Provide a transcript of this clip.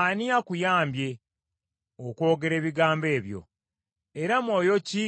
Ani akuyambye okwogera ebigambo ebyo? Era mwoyo ki